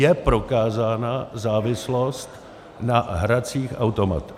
Je prokázána závislost na hracích automatech.